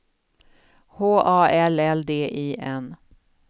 H A L L D I N